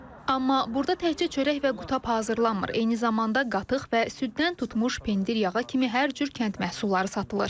Amma burda təkcə çörək və qutab hazırlanmır, eyni zamanda qatıq və süddən tutmuş pendir yağa kimi hər cür kənd məhsulları satılır.